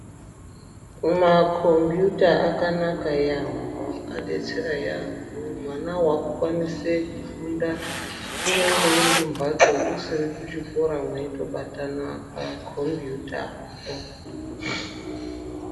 Makombiyuta akanaka yambo adetsera yambo hwana hwava kukwanise kufunda kunyangwe uri kumbatso usiri kuchikoro weitobatana makombiyuta po.